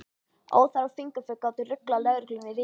Óþarfa fingraför gátu ruglað lögregluna í ríminu.